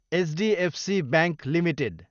HDFC bank Ltd